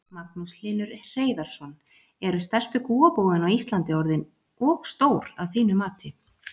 Magnús Hlynur Hreiðarsson: Eru stærstu kúabúin á Íslandi orðin og stór að þínu mati?